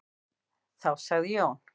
Þá sagði Jón: